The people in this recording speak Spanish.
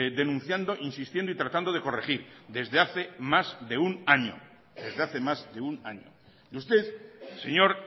denunciando insistiendo y tratando de corregir desde hace más de un año desde hace más de un año y usted señor